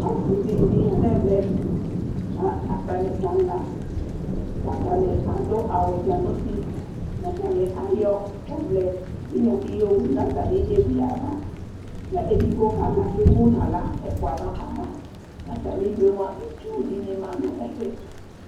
ase dini ya n'ɛvɛ k'atani kala atani ado awu dza n'uti ko atani ayɔ ɔvlɛ tinya di yowu n'atami evi ava k'edigbo kala k'emu n'ala ɛfua n'ava atami due moa itsu dini ma no ɛfɛ